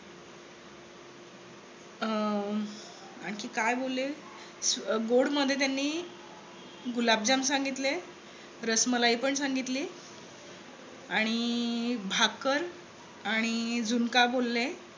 अं आणखी काय बोलले. गोड मध्ये त्यांनी गुलाबजाम सांगितले. रसमलाई पण सांगितली आणि भाकर आणि झुणका बोलले.